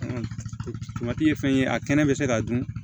ye fɛn ye a kɛnɛ bɛ se k'a dun